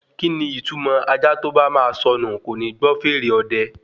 Kíni ìtumọ̀ ajá tó bá ma sọnù kòní gbọ́ fèrè ọdẹ?